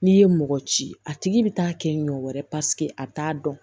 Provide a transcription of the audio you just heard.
N'i ye mɔgɔ ci a tigi bɛ taa kɛ ɲɔ wɛrɛ paseke a bɛ t'a dɔn